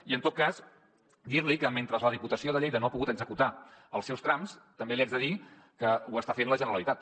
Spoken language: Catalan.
i en tot cas dir li que mentre la diputació de lleida no ha pogut executar els seus trams també li haig de dir que ho està fent la generalitat